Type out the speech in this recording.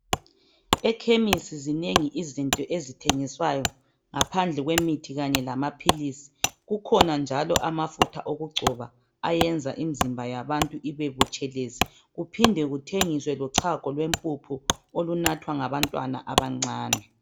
Ekhemisi zinengi izinto ezithengiswayo ngaphandle kwemithi kanye lamaphilizi kukhona njalo amafutha okugcoba ayenza imizimba yabantu ibebutshelezi kuphinde kuthengiswe lochago lwempuphu olunathwa ngabantwana abancane.